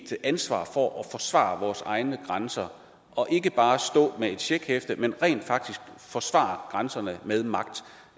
ansvar for at forsvare vores egne grænser og ikke bare stå med et checkhæfte men rent faktisk forsvare grænserne med magt